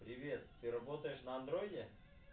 привет ты работаешь на андроиде